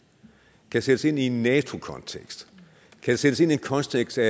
kan sættes ind i en nato kontekst kan sættes ind i en kontekst af